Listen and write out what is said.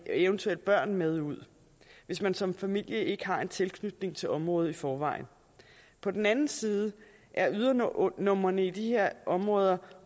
eventuelle børn med ud hvis man som familie ikke har en tilknytning til området i forvejen på den anden side er ydernumrene i de her områder